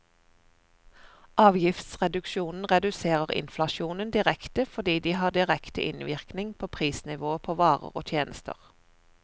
Avgiftsreduksjoner reduserer inflasjonen direkte fordi de har direkte innvirkning på prisnivået på varer og tjenester.